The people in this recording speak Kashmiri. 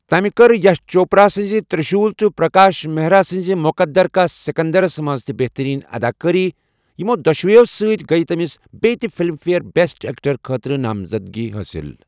تٔمہِ کٔر یَش چوپرا سٕنٛزِ تِرٛشوٗل تہٕ پرٛکاش مہرا سٕنٛزِ مُقدِر کا سِکنٛدَرس منٛز تہِ بہتٔریٖن اَداکٲری، یِمو دۄشوٕیو سۭتۍ گٔیۍ تٔمِس بیہ تہِ فِلِم فِیَر بٮ۪سٹ ایکٹر خٲطرٕ نامزدگی حٲصِل۔